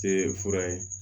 Te fura ye